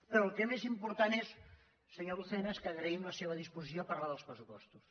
però el que més important és senyor lucena és que agraïm la seva disposició a parlar dels pressupostos